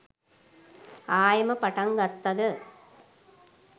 ආයෙම පටන් ගත්තද